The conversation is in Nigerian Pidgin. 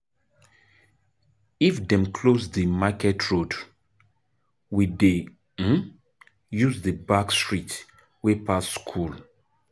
If dem close di market road, we dey um use di back street wey pass skool.